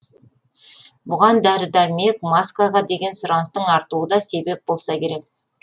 бұған дәрі дәрмек маскаға деген сұраныстың артуы да себеп болса керек